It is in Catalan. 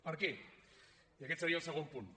per què i aquest seria el segon punt